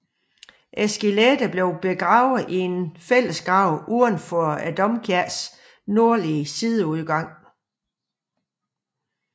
Skeletterne blev begravet i en fællesgrav uden for domkirkens nordlige sideudgang